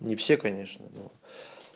не все конечно ну